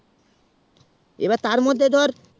এবার তার মধ্যেই ধর